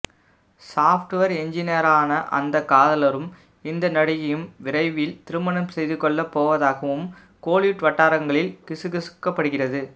software எஞ்சினியரான அந்த காதலரும் இந்த நடிகையும் விரைவில் திருமணம் செய்து கொள்ள போவதாகவும் கோலிவுட் வட்டாரங்களில் கிசுகிசுக்கப்படுகிறது